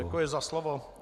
Děkuji za slovo.